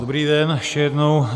Dobrý den ještě jednou.